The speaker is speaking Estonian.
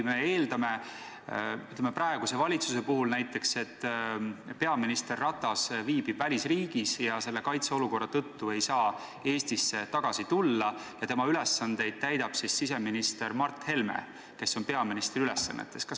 Oletame näiteks, et peaminister Ratas viibib välisriigis ja kaitseolukorra tõttu ei saa Eestisse tagasi tulla ja tema kohustusi täidab siseminister Mart Helme, kes on peaministri ülesannetes.